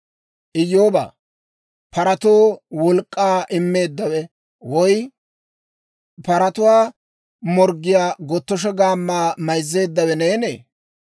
«Iyyoobaa, paratoo wolk'k'aa immeeddawe, woy paratuwaa morggiyaa gotosho gammaa mayzzeeddawe neenee?